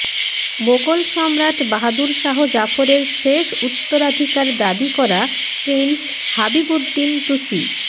মোগল সম্রাট বাহাদুর শাহ জাফরের শেষ উত্তরাধিকার দাবি করা প্রিন্স হাবিবুদ্দিন তুসি